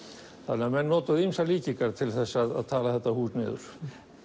menn notuðu ýmsar líkingar til að tala þetta hús niður